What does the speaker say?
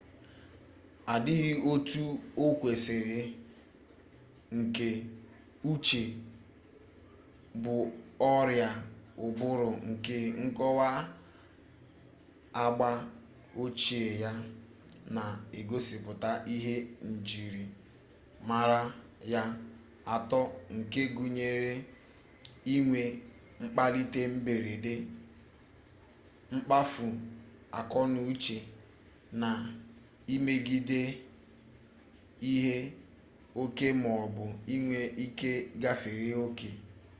adịghị otu o kwesiri nke uche bụ ọrịa ụbụrụ nke nkọwa agba ochie ya na-egosipụta ihe njirimara ya atọ nke gụnyere inwe mkpalite mberede mkpafu akọnauche na imebiga ihe oke maọbụ inwe ike gafere oke